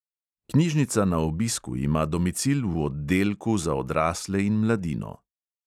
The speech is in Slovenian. Knjižnica na obisku ima domicil v oddelku za odrasle in mladino.